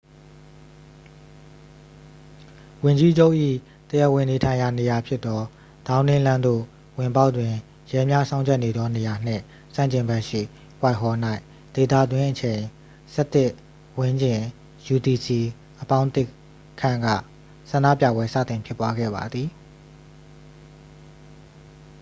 ဝန်ကြီးချုပ်၏တရားဝင်နေထိုင်ရာနေရာဖြစ်သော ဒေါင်းနင်းလမ်းသို့ဝင်ပေါက်တွင် ရဲများစောင့်ကြပ်နေသောနေရာနှင့် ဆန့်ကျင်ဘက်ရှိ whitehall ၌ ဒေသတွင်းအချိန် ၁၁:၀၀ ဝန်းကျင် utc+၁ ခန့်က ဆန္ဒပြပွဲ စတင်ဖြစ်ပွားခဲ့ပါသည်။